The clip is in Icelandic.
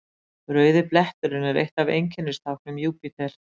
Rauði bletturinn er eitt af einkennistáknum Júpíter.